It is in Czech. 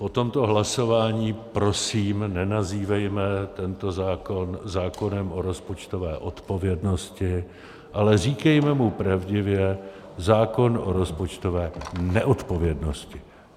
Po tomto hlasování prosím nenazývejme tento zákon zákonem o rozpočtové odpovědnosti, ale říkejme mu pravdivě zákon o rozpočtové neodpovědnosti.